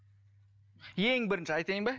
ең бірінші айтайын ба